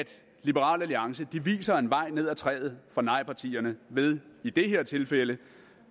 liberal alliance viser en vej ned af træet for nejpartierne ved i det her tilfælde